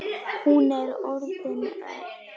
Hún er orðin önug.